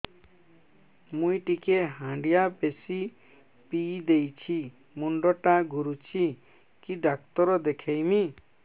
ମୁଇ ଟିକେ ହାଣ୍ଡିଆ ବେଶି ପିଇ ଦେଇଛି ମୁଣ୍ଡ ଟା ଘୁରୁଚି କି ଡାକ୍ତର ଦେଖେଇମି